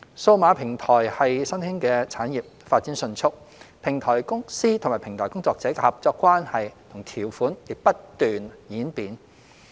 數碼平台是新興產業，發展迅速，平台公司與平台工作者的合作關係和條款亦不斷演變。